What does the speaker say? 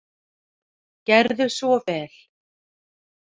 Gerðu svo vel.